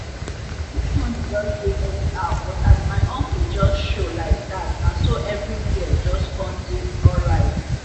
this morning jus dey anyhow but as my uncle jus show laidat naso eviri where jus com dey alright